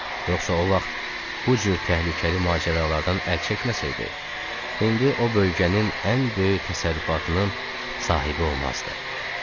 Yoxsa o vaxt bu cür təhlükəli macəralardan əl çəkməsəydi, indi o bölgənin ən böyük təsərrüfatının sahibi olmazdı.